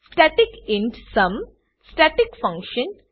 static int sum static function static function